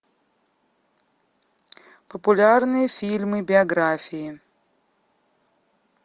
популярные фильмы биографии